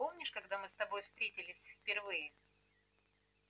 помнишь когда мы с тобой встретились впервые